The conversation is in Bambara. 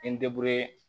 N